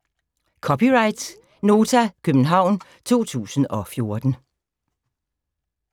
(c) Nota, København 2014